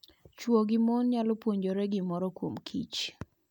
Chwo gi mon nyalo puonjore gimoro kuomkich.